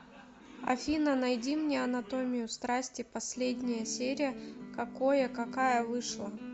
афина найди мне анатомию страсти последняя серия какое какая вышла